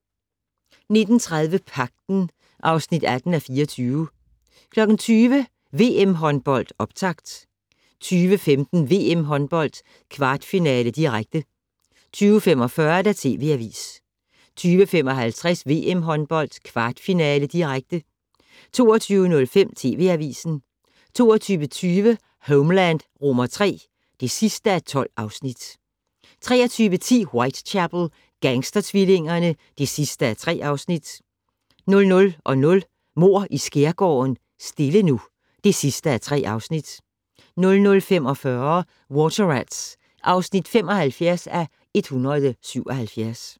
19:30: Pagten (18:24) 20:00: VM håndbold: Optakt 20:15: VM håndbold: Kvartfinale, direkte 20:45: TV Avisen 20:55: VM håndbold: Kvartfinale, direkte 22:05: TV Avisen 22:20: Homeland III (12:12) 23:10: Whitechapel: Gangstertvillingerne (3:3) 00:00: Mord i Skærgården: Stille nu (3:3) 00:45: Water Rats (75:177)